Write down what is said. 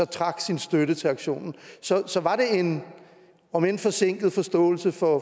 trak sin støtte til aktionen så så var det en om end forsinket forståelse for